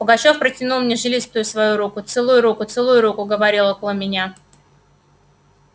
пугачёв протянул мне жилистую свою руку целуй руку целуй руку говорили около меня